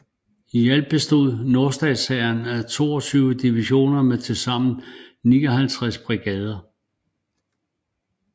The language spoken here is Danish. I alt bestod nordstatshæren af 22 divisioner med tilsammen 59 brigader